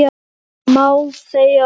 Hvað segirðu um þau, ha?